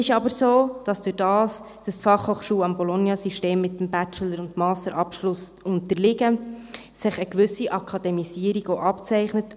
Da die BFH dem Bologna-System mit Bachelor- und Masterabschluss unterliegt, zeichnet sich eine gewisse Akademisierung ab.